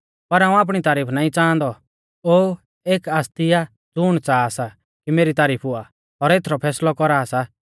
पर हाऊं आपणी तारीफ नाईं च़ांहादौ ओ एक आसती आ ज़ुण च़ाहा सा कि मेरी तारीफ हुआ और एथरौ फैसलौ कौरा सा